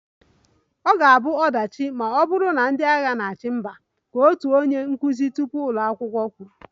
"Ọ ga-abụ ọdachi ma ọ bụrụ na ndị agha na-achị mba"" ka otu onye nkụzi tupu ụlọ akwụkwọ kwuru"